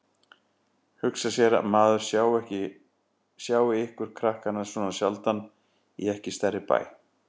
Hugsa sér að maður sjái ykkur krakkana svona sjaldan í ekki stærri bæ.